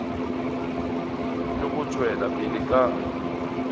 le go tšwela pele ka